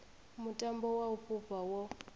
mutambo wa u fhufha wo